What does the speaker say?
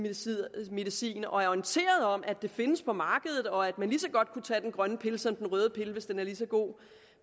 medicin og er orienteret om at det findes på markedet og at man lige så godt kunne tage den grønne pille som den røde pille hvis den er lige så god